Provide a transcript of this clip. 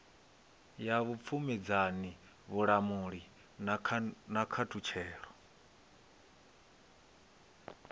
ya vhupfumedzani vhulamuli na khaṱulo